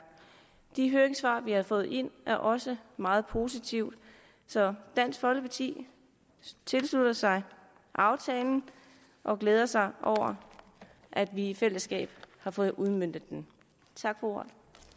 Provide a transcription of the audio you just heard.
de høringssvar vi har fået ind er også meget positive så dansk folkeparti tilslutter sig aftalen og glæder sig over at vi i fællesskab har fået udmøntet den tak for ordet